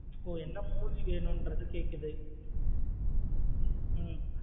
ஒ என்ன movie வேனுன்றது கேக்குது.